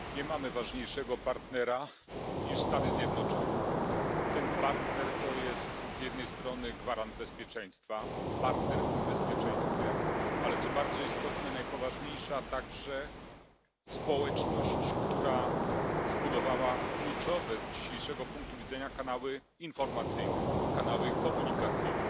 Pani Przewodnicząca! Nie mamy ważniejszego partnera niż Stany Zjednoczone. Ten partner to jest z jednej strony gwarant bezpieczeństwa partner w tym bezpieczeństwie ale co bardzo istotne najpoważniejsza także społeczność, która zbudowała kluczowe z dzisiejszego punktu widzenia kanały informacyjne, kanały komunikacyjne.